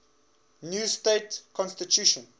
new state constitution